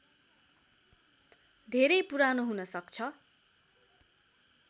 धेरै पुरानो हुनसक्छ